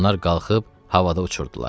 Onlar qalxıb havada uçurdular.